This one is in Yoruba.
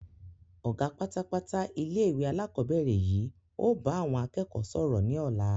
Ọ̀gá pátápátá ilé ìwé alakọ̀bẹ́ẹ́rẹ̀ yìí ó bá àwọn akẹ́kọ̀ọ́ sọ̀rọ̀ ni ọ̀la.